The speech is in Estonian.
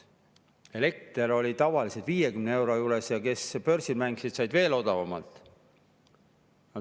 Elektri oli tavaliselt 50 euro juures ja kes börsil mängisid, said veel odavamalt.